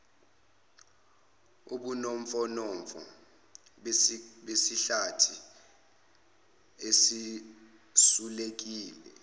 ubunofonofo besihlathi esisulekile